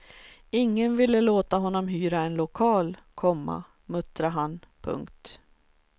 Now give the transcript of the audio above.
Ingen ville låta honom hyra en lokal, komma muttrade han. punkt